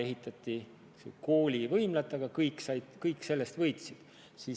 Ehitati küll kooli võimla, aga sellest võitsid kõik.